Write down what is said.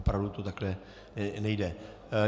Opravdu to takhle nejde.